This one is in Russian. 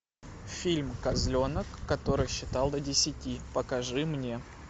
фильм козленок который считал до десяти покажи мне